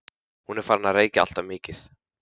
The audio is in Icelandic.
Hún er farin að reykja alltof mikið.